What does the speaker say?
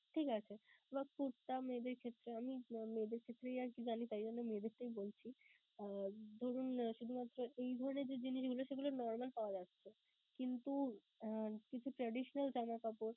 ঠিক আছে বা কুর্তা মেয়েদের ক্ষেত্রে আমি মেয়েদের ক্ষেত্রেই আরকি জানি তাই জন্য মেয়েদেরটাই বলছি. ধরুন, শুধুমাত্র এই ধরণের যে জিনিসগুলো সেগুলা normal পাওয়া যাচ্ছে কিন্তু traditional জামাকাপড়